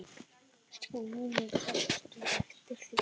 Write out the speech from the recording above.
SKÚLI: Sástu eftir því?